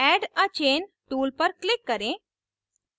add a chain tool पर click करें